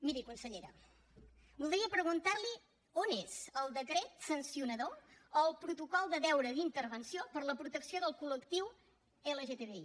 miri consellera voldria preguntar li on és el decret sancionador o el protocol de deure d’intervenció per la protecció del col·lectiu lgtbi